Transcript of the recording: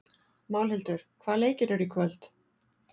Málhildur, hvaða leikir eru í kvöld?